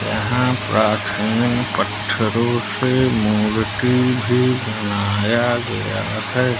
यहां प्राचीन पत्थरों से मूर्ति भी बनाया गया है।